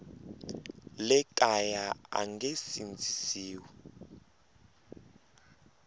le kaya a nge sindzisiwi